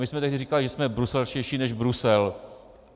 My jsme tehdy říkali, že jsme bruselštější než Brusel.